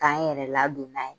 K'an yɛrɛ ladon n'a ye.